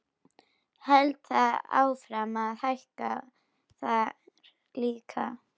Heldur það áfram að hækka þar líka?